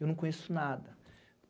Eu não conheço nada.